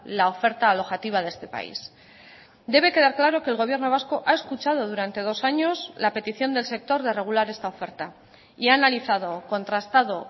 la oferta alojativa de este país debe quedar claro que el gobierno vasco ha escuchado durante dos años la petición del sector de regular esta oferta y ha analizado contrastado